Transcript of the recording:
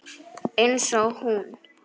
Einsog hún.